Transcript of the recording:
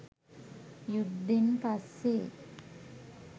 යුද්ධෙන් පස්සේ